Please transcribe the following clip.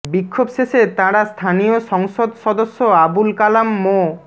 বিক্ষোভ শেষে তাঁরা স্থানীয় সংসদ সদস্য আবুল কালাম মো